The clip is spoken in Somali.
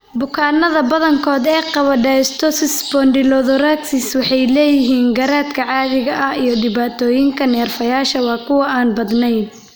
Bukaannada badankood ee qaba dysostosis spondylothoracic waxay leeyihiin garaadka caadiga ah iyo dhibaatooyinka neerfayaasha waa kuwo aan badneyn.